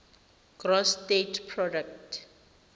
gross state product